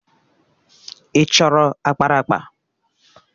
Ị chọrọ ákpáraàkpà?